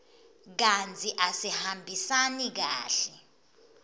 kantsi asihambisani kahle